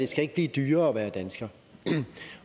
skal blive dyrere at være dansker